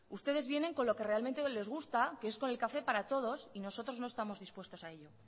ustedes vienen con lo que realmente les gusta que es con el café para todos y nosotros no estamos dispuestos a ello